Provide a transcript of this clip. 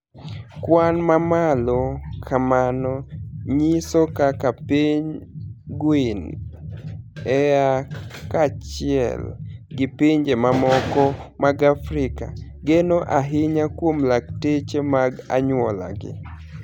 Kwani mamalo kamano niyiso kaka piniy Guini ea kaachiel gi pinije mamoko mag Afrika, geno ahiniya kuom lakteche mag aniyuolagi.